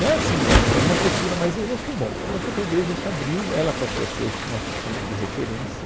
É assim, o é, em uma postura, mas e no fim, bom, aconteceu que a igreja se abriu, ela passou a ser o nosso centro de referência.